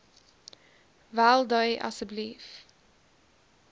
wel dui asseblief